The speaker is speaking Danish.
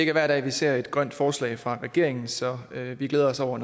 er hver dag vi ser et grønt forslag fra regeringen så vi glæder os over